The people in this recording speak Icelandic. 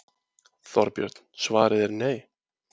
Þorbjörn: Svarið er nei?